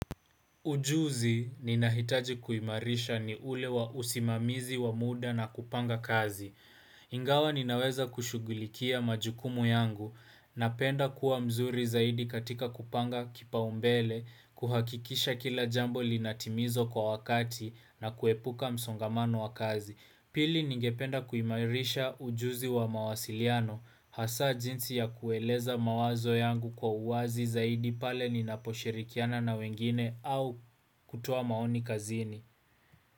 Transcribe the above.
Ujuzi ninahitaji kuimarisha ni ule wa usimamizi wa muda na kupanga kazi. Ingawa ninaweza kushughulikia majukumu yangu napenda kuwa mzuri zaidi katika kupanga kipaumbele kuhakikisha kila jambo linatimizwa kwa wakati na kuepuka msongamano wa kazi. Pili ningependa kuimairisha ujuzi wa mawasiliano. Hasa jinsi ya kueleza mawazo yangu kwa uwazi zaidi pale ninaposhirikiana na wengine au kutoa maoni kazini.